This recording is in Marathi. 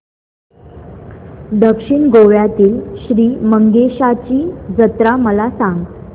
दक्षिण गोव्यातील श्री मंगेशाची जत्रा मला सांग